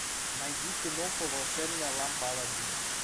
найди киноху волшебная лампа аладдина